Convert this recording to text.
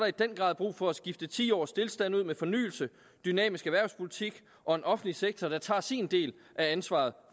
i den grad er brug for at skifte ti års stilstand ud med fornyelse dynamisk erhvervspolitik og en offentlig sektor der tager sin del af ansvaret